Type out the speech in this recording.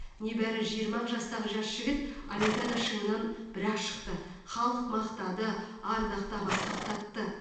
небәрі жиырма ақ жастағы жас жігіт олимпиада шыңынан бір ақ шықты халық мақтады ардақтап асқақтатты